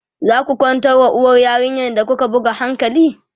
zaku kwantar wa uwar yarinyar da kuka buga hankali?